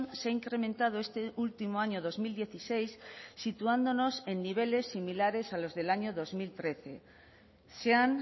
se ha incrementado este último año dos mil dieciséis situándonos en niveles similares a los del año dos mil trece se han